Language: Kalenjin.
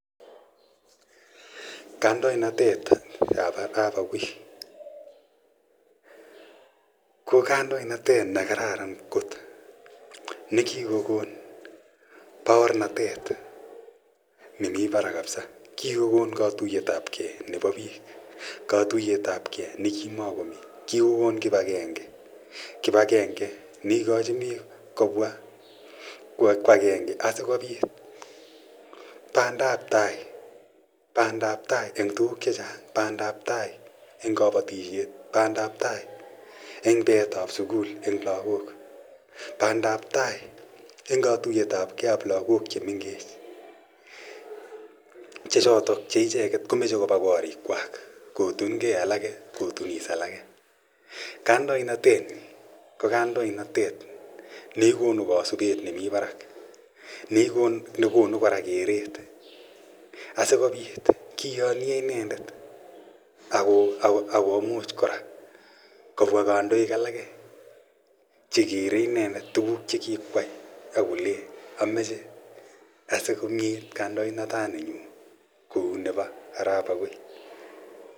Kandoinatit ap Arap Akoi, ko kandoinatet ne kararan kot ne kikokon paornatet nemi parak kapsa. Kikokon katuyet ap gei nepo piik. Katuyetapgei ne ki makomi. Kiko kon kipagenge. Kipagenge ne ikachin piik kopwa ko agenge asikopit pandap tai. Pandap tai eng' tuguk che chang' , pandaptai eng' kapatishet, pandaptai eng' peetap sukul eng' lagok, pandap tai eng' katuyet ap gei ap lagok che mengech che chotok che icheget ko mache kopa karikwak kotungei alake, kotunis alake. Kandoinatet, ko kandoinatet ne konu kaspet nemi parak, ne kpnu kora kereet asikopit kiyanye inendet ak komuch kora kopwa kandoik alake che keree inendet tuguk che kikoyai ako le amachd asikong'et kandoinataninyu kou nepo Arap Akoi.